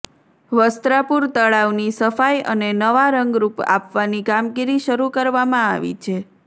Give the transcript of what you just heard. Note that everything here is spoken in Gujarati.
વસ્ત્રાપુર તળાવની સફાઇ અને નવા રંગરૂપ આપવાની કામગીરી શરૂ કરવામાં આવી છે